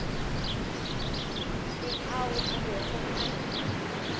le ao a bego a